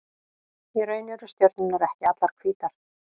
Í raun eru stjörnurnar ekki allar hvítar.